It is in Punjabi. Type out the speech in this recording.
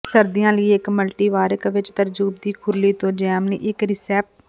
ਸਰਦੀਆਂ ਲਈ ਇੱਕ ਮਲਟੀਵਾਰਕ ਵਿੱਚ ਤਰਬੂਜ ਦੀ ਖੁਰਲੀ ਤੋਂ ਜੈਮ ਲਈ ਇੱਕ ਰਿਸੈਪ